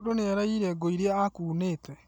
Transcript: Mũndũnĩaraiyire ngũĩrĩa ekuunĩte